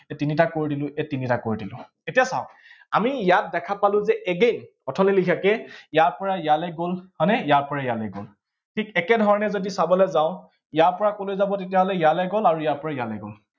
এই তিনিটাক কৰি দিলো, এই তিনিটাক কৰি দিলো। এতিয়া চাঁওক, আমি ইয়াত দেখা পালো যে again থনি লেখিয়াকে ইয়াৰ পৰা ইয়ালৈ গল, হয় নে, ইয়াৰ পৰা ইয়ালৈ গল। ঠিক একে ধৰণে যদি চাবলৈ যাওঁ ইয়াৰ পৰা কলৈ যাব তাতিয়াহলে, ইয়ালে গল, আৰু ইয়াৰ পৰা ইয়ালে গল।